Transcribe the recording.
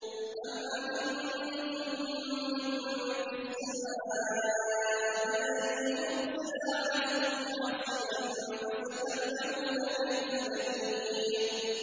أَمْ أَمِنتُم مَّن فِي السَّمَاءِ أَن يُرْسِلَ عَلَيْكُمْ حَاصِبًا ۖ فَسَتَعْلَمُونَ كَيْفَ نَذِيرِ